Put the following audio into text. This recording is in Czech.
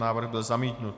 Návrh byl zamítnut.